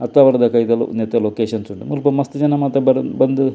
ಅತ್ತಾವರ ದ ಕೈತಲ್ ನೆತ್ತ ಲೊಕೇಶನ್ ಉಂಡು ಮುಲ್ಪ ಮಸ್ತ್ ಜನ ಮಾತ ಬಂದ್.